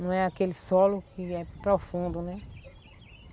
Não é aquele solo que é profundo, né?